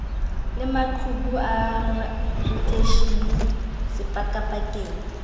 le maqhubu a radieishene sepakapakeng